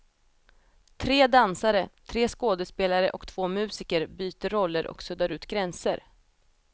Tre dansare, tre skådespelare och två musiker byter roller och suddar ut gränser.